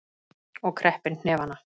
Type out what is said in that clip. Og kreppir hnefana.